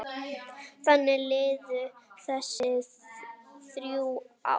Þannig liðu þessi þrjú ár.